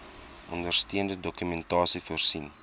ondersteunende dokumentasie voorsien